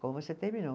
Como você terminou.